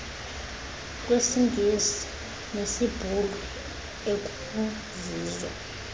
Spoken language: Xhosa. kwesingesi nesibhulu ekuzizo